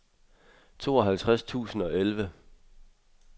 tooghalvtreds tusind og elleve